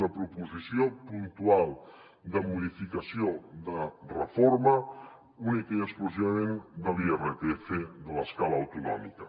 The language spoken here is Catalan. una proposició puntual de modificació de reforma únicament i exclusivament de l’irpf de l’escala autonòmica